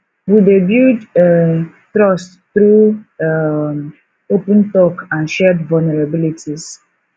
we dey build um trust through um open talk and shared vulnerabilities